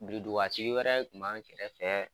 Biridugatigi wɛrɛ kun b'an kɛrɛ fɛ.